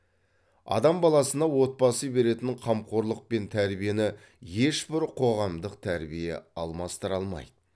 адам баласына отбасы беретін қамқорлық пен тәрбиені ешбір қоғамдық тәрбие алмастыра алмайды